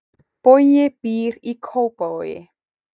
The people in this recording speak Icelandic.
Bogi býr í Kópavogi.